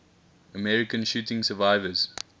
american shooting survivors